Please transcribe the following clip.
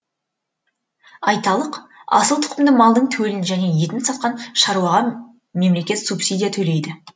айталық асыл тұқымды малдың төлін және етін сатқан шаруаға мемлекет субсидия төлейді